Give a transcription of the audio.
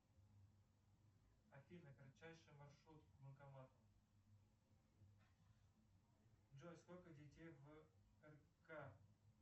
афина кратчайший маршрут к банкомату джой сколько детей в рк